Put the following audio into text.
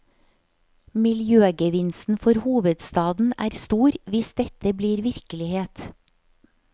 Miljøgevinsten for hovedstaden er stor hvis dette blir virkelighet.